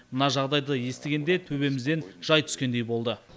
мына жағдайды естігенде төбемізден жай түскендей болды